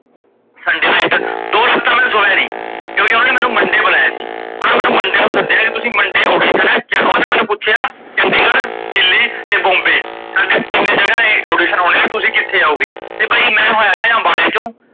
ਦੋ ਰਾਤਾ ਮੈ ਸੋਇਆ ਨੀ, ਕਿਉਕਿ ਓਨਾ ਮੈਂਨੂੰ monday ਬੁਲਾਇਆ ਸੀ, ਓਨਾ ਮੈਂਨੂੰ monday ਨੂੰ ਸੱਦਿਆ ਸੀ, ਤੁਸੀਂ monday audition ਆ ਓਨਾ ਮੈਂਨੂੰ ਪੁੱਛਿਆ ਚੰਡੀਗੜ੍, ਦਿੱਲੀ ਤੇ ਬੋਮਬੇ ਸਾਡੇ ਤੀਨੇ ਜਗਾਹ ਇਹ audition ਹੋਣੇ ਤੇ ਤਸੀ ਕਿੱਥੇ ਆਉਗੇ ਤੇ ਬਾਈ ਮੈ ਹੁਣ ਹੋਏਦਾ ਅਮਬਾਲੇ ਕੀਓ